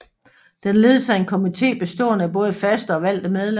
Den ledes af en komité bestående af både faste og valgte medlemmer